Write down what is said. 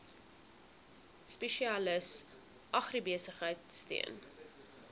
spesialis agribesigheid steun